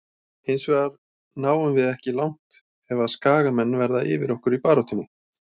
Hinsvegar náum við ekki langt ef að skagamenn verða yfir okkur í baráttunni.